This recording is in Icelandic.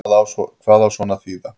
Hvað á svona að þýða